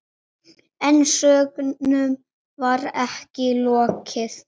En sögnum var ekki lokið.